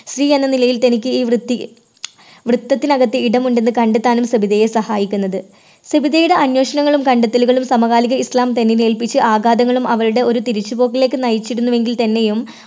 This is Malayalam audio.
സ്ത്രീ എന്ന നിലയിൽ തനിക്ക് ഈ വൃത്തി വൃത്തത്തിനകത്ത് ഇടമുണ്ടെന്ന് കണ്ടെത്താനും സബിതയെ സഹായിക്കുന്നത്. സബിതയുടെ അന്വേഷണങ്ങളും കണ്ടെത്തലുകളും സമകാലിക ഇസ്ലാം തന്നിൽ ഏൽപ്പിച്ച ആഘാതങ്ങളും അവരുടെ ഒരു തിരിച്ച് പോക്കിലേക്ക് നയിച്ചിരുന്നു എങ്കിൽ തന്നെയും